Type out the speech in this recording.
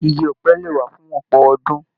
Ìgi ọ̀pẹ lè wà fún ọpọ ọdún.